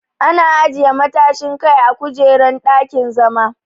Ana ajiye matashin Kai a kujerun dakin-zama.